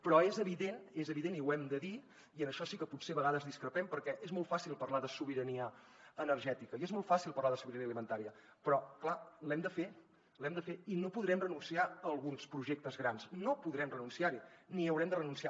però és evident i ho hem de dir i en això sí que potser a vegades discrepem perquè és molt fàcil parlar de sobirania energètica i és molt fàcil parlar de sobirania alimentària però clar l’hem de fer i no podrem renunciar a alguns projectes grans no podrem renunciar hi ni hi haurem de renunciar